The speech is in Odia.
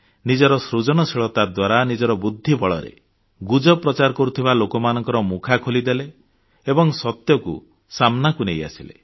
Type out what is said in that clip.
ନିଜର ସୃଜନଶୀଳତା ଦ୍ୱାରା ନିଜର ବୁଦ୍ଧି ବଳରେ ଗୁଜବ ପ୍ରଚାର କରୁଥିବା ଲୋକମାନଙ୍କ ମୁଖା ଖୋଲିଦେଲେ ଏବଂ ସତ୍ୟକୁ ସାମନାକୁ ନେଇଆସିଲେ